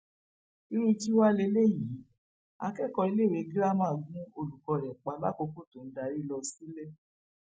irú kí wàá lélẹyìí akẹkọọ iléèwé girama gún olùkọ rẹ pa lákòókò tó ń darí lọ sílé